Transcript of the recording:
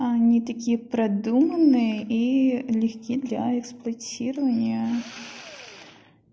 они такие продуманные и легки для эксплуатирования